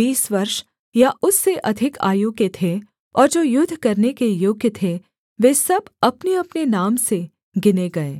बीस वर्ष या उससे अधिक आयु के थे और जो युद्ध करने के योग्य थे वे सब अपनेअपने नाम से गिने गए